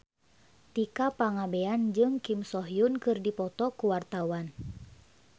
Tika Pangabean jeung Kim So Hyun keur dipoto ku wartawan